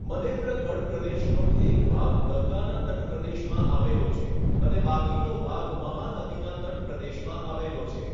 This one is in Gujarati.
મનેન્દ્રગઢ પ્રદેશનો એક ભાગ ગંગાના તટપ્રદેશમાં આવેલો છે અને બાકીનો ભાગ મહાનદીના તટપ્રદેશમાં આવેલો છે.